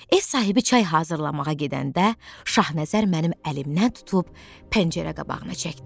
Ev sahibi çay hazırlamağa gedəndə Şahnəzər mənim əlimdən tutub pəncərə qabağına çəkdi.